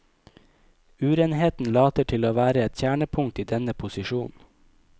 Urenheten later til å være et kjernepunkt i denne posisjonen.